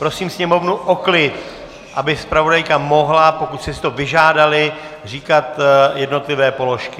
Prosím sněmovnu o klid, aby zpravodajka mohla, pokud jste si to vyžádali, říkat jednotlivé položky.